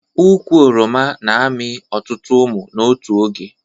Ụkwụ oroma na amị ọtụtụ ụmụ n'otu oge